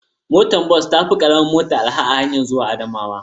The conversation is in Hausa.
Motar bas ta fi araha fiye da karamar mota a hanyarmu ta zuwa Adamawa.